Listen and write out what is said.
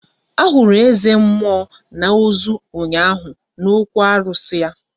Ahụrụ eze mmụọ na ozu ụnyaahụ n'okwu arụsị ya